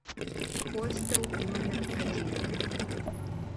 хостел номер один